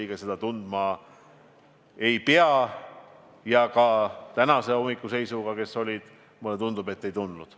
Ja mulle tundub, et tänahommikuse seisuga need, kes olid, ka seda ei tundnud.